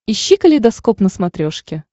ищи калейдоскоп на смотрешке